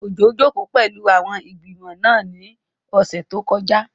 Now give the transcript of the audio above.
Òjó jòkó pẹ̀lú àwọn ẹgbẹ́ ìgbìmọ̀ náà ní ọ̀sẹ̀ tó kọjá